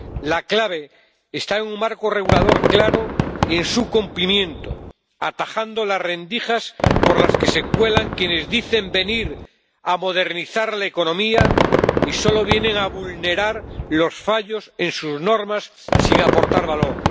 La clave está en un marco regulador claro y en su cumplimiento, atajando las rendijas por las que se cuelan quienes dicen venir a modernizar la economía y solo vienen a vulnerar los fallos en sus normas sin aportar valor.